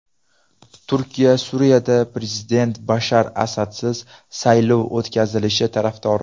Turkiya Suriyada prezident Bashar Asadsiz saylov o‘tkazilishi tarafdori.